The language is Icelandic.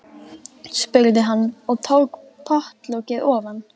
spurði hann og tók pottlokið ofan.